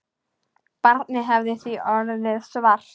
Barnið hefði því orðið svart.